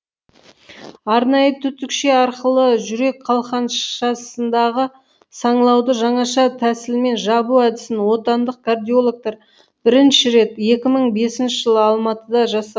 арнайы түтікше арқылы жүрек қалқаншасындағы саңылауды жаңаша тәсілмен жабу әдісін отандық кардиологтар бірінші рет екі мың бесінші жылы алматыда жаса